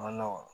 A ma nɔgɔ